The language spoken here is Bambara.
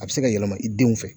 A bi se ka yɛlɛma i denw fɛ